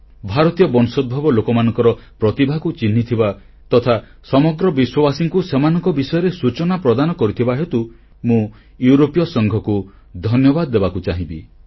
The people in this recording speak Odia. ଭାରତୀୟ ବଂଶୋଦ୍ଭବ ଲୋକମାନଙ୍କର ପ୍ରତିଭାକୁ ଚିହ୍ନିଥିବା ତଥା ସମଗ୍ର ବିଶ୍ୱବାସୀଙ୍କୁ ସେମାନଙ୍କ ବିଷୟରେ ସୂଚନା ପ୍ରଦାନ କରିଥିବା ହେତୁ ମୁଁ ୟୁରୋପୀୟ ସଂଘକୁ ଧନ୍ୟବାଦ ଦେବାକୁ ଚାହିଁବି